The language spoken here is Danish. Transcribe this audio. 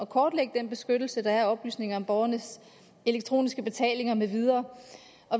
kortlægge den beskyttelse der er af oplysninger om borgernes elektroniske betalinger med videre